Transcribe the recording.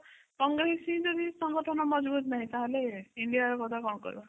କଂଗ୍ରେସ ର ସଂଗଠନ ମଜଭୁତ ନାହିଁ ତ ହେଲେ india କଥା କଣ କହିବା